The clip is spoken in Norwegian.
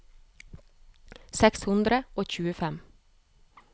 seks hundre og tjuefem